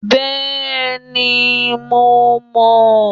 Bẹ́ẹ̀ni, mo mọ̀